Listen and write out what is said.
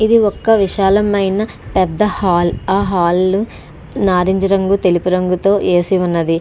ఇది ఒక పెద్ద విశాలమైన పెద్ద హాల్. ఆ హాలు నారింజ రంగుతెలుపు రంగుతో ఏసి ఉన్నది.